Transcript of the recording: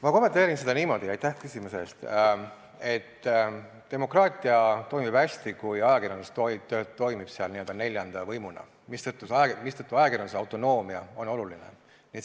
Ma kommenteerin seda niimoodi, et demokraatia toimib hästi, kui ajakirjandus toimib n-ö neljanda võimuna, mistõttu ajakirjanduse autonoomia on oluline.